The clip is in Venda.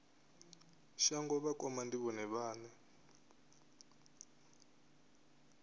shango vhakoma ndi vhone vhane